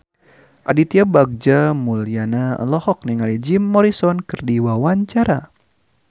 Aditya Bagja Mulyana olohok ningali Jim Morrison keur diwawancara